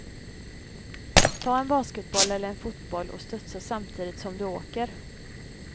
Ta en basketboll eller en fotboll och studsa samtidigt som du åker.